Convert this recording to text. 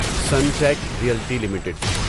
Sunteck Realty limited